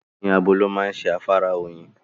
Oyin abo ló máa ń ṣe afárá oyin.